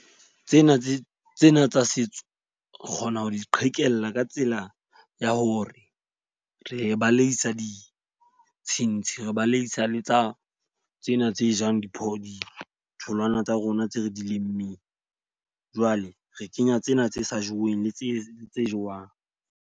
Tsena tse tsena tsa setso, re kgona ho di qhekella ka tsela ya hore re baleisa ditshintshi, re baleisa le tsa tsena tse jang di tholwana tsa rona tse re di lemmeng. Jwale re kenya tsena tse sa jeweng le tse tse jewang.